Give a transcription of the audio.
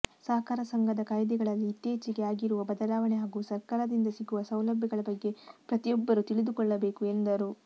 ಸಹಕಾರ ಸಂಘದ ಕಾಯ್ದೆಗಳಲ್ಲಿ ಇತ್ತೀಚೆಗೆ ಆಗಿರುವ ಬದಲಾವಣೆ ಹಾಗೂ ಸರ್ಕಾರದಿಂದ ಸಿಗುವ ಸೌಲಭ್ಯಗಳ ಬಗ್ಗೆ ಪ್ರತಿಯೊಬ್ಬರೂ ತಿಳಿದುಕೊಳ್ಳಬೇಕು ಎಂದರು